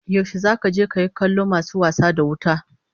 Yaushe zaka je kayi kallon masu wasa da wuta?